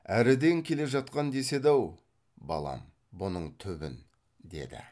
әріден келе жатқан деседі ау балам бұның түбін деді